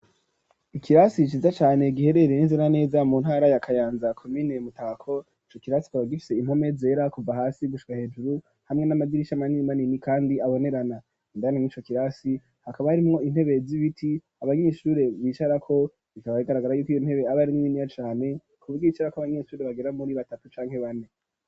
Ikirasi ciza cane giherereye neza neza mu ntara ya Kayanza komine Mutako ico kirasi kikaba gifise impome zera kuva hasi gushika hejuru hamwe n'amadirisha manini manini kandi abonerana indani mwico kirasi hakaba harimwo intebe zibiti abanyeshure bicarako bikaba bigaragara yuko iyo ntebe abari ari niniya cane ku buryo yicarako abanyeshuri bagera muri batatu canke bane.